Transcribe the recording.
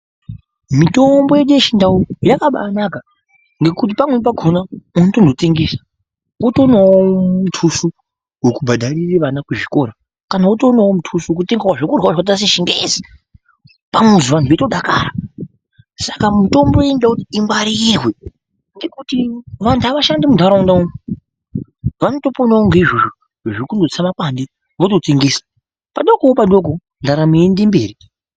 Mitombo yedu yechindau yakabaanaka ngekuti pamweni pakona unotozotengesa unotoonawo mutuso wekubhadharire vana kuchikora kana wotoonawo mutuso wekutengawo zvekurya zvechingezi pamuziwo vantu veitodakara. Saka mitombo inoda kuti ingwarirwe ngekuti vantu havashandi muntaraunda umwu, vanotoponawo ngeizvozvo zvekudusa mapande vototengesa. Padokowo padoko, ndaramo yeiende mberi.